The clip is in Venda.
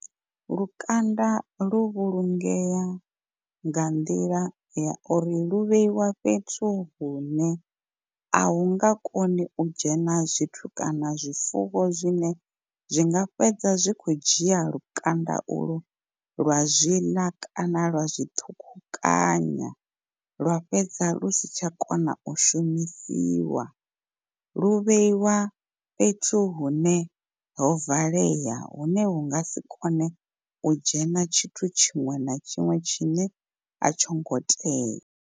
Lukanda lu vhulungea nga nḓila ya uri lu vheiwa fhethu hune a hu nga koni u dzhena zwithu kana zwifuwo zwine zwinga fhedza zwi kho dzhia lukanda u lu lwa zwi ḽa kana lwa zwi ṱhukhukanyiwa, lwa fhedza lu si tsha kona u shumisiwa lu vheiwa fhethu hune ho valea hune hu nga si kone u dzhena tshithu tshiṅwe na tshiṅwe tshine a tsho ngo tea.